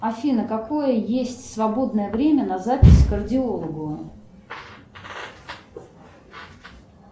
афина какое есть свободное время на запись к кардиологу